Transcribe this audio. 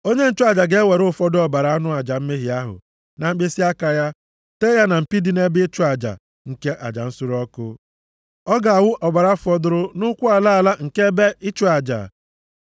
Onye nchụaja ga-ewere ụfọdụ ọbara anụ aja mmehie ahụ na mkpịsịaka ya, tee ya na mpi dị nʼebe ịchụ aja nke aja nsure ọkụ. Ọ ga-awụ ọbara fọdụrụ nʼụkwụ ala ala nke ebe ịchụ aja.